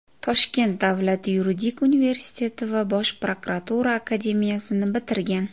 Toshkent davlat yuridik universiteti va Bosh prokuratura akademiyasini bitirgan.